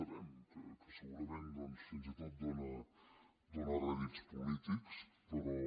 sabem que segurament doncs fins i tot dóna rèdits polítics però